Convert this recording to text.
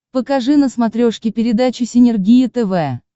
покажи на смотрешке передачу синергия тв